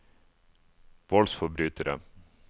voldsforbrytere